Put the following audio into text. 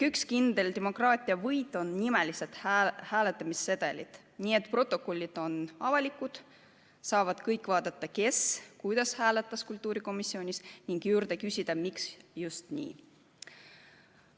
Üks kindel demokraatia võit on nimelised hääletamissedelid, nii et protokollid on avalikud, kõik saavad vaadata, kes kuidas kultuurikomisjonis hääletas, ning küsida, miks just nii.